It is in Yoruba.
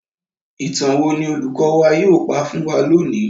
Ìtàn wo ni olùkọ́ wa yóò pa fún wa lónìí?